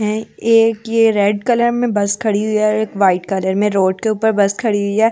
है एक ये रेड कलर में बस खड़ी हुई है और एक वाइट कलर में रोड के ऊपर बस खड़ी हुई है।